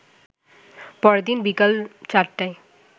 পরদিন বিকাল ৪টায়